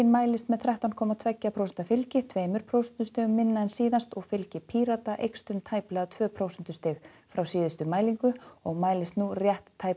mælist með þrettán komma tvö prósent fylgi tveimur prósentustigum minna en síðast og fylgi Pírata eykst um tæplega tvö prósentustig frá síðustu mælingu og mælist nú rétt tæp